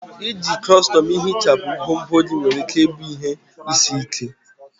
Iji kọstọm ihichapụ ngwongwo gị nwere ike ịbụ ihe isi ike.